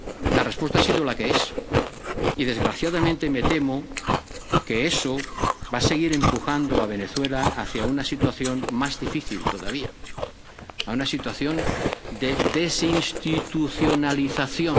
La respuesta ha sido la que es, y desgraciadamente me temo que eso va a seguir empujando a Venezuela hacia una situación más difícil todavía, a una situación de desinstitucionalización.